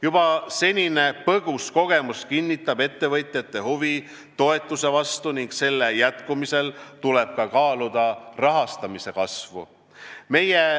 Juba senine põgus kogemus kinnitab ettevõtjate huvi toetuse vastu ning selle jätkumisel tuleb kaaluda ka rahastamise kasvu.